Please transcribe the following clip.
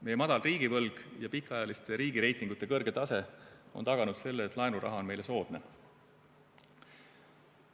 Meie madal riigivõlg ja pikaajaliste riigireitingute kõrge tase on taganud selle, et laenuraha on meile soodne.